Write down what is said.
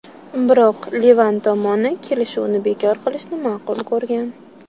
Biroq Livan tomoni kelishuvni bekor qilishni ma’qul ko‘rgan.